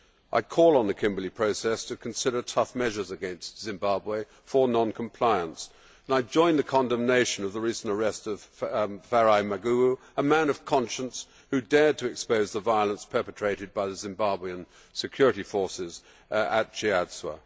I call on the Kimberley Process to consider tough measures against Zimbabwe for non compliance and I join the condemnation of the recent arrest of Farai Maguwu, a man of conscience, who dared to expose the violence perpetrated by the Zimbabwean security forces at Chiadzwa.